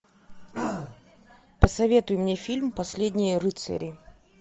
посоветуй мне фильм последние рыцари